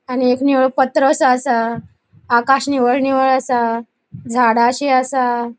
आणि एक निळो पत्रोसो असा. आकाश निव्व्हळ निव्व्हळ असा झाडाशी असा.